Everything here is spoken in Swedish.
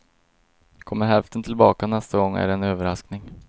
Kommer hälften tillbaka nästa gång är det en överraskning.